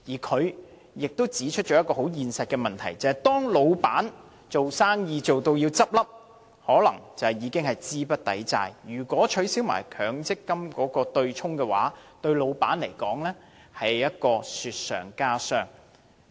他亦指出一個很現實的問題，就是當公司將要倒閉，可能已經資不抵債，如果取消強積金對沖機制，對僱主更是雪上加霜。